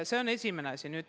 Seda esiteks.